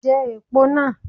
Je èpo náà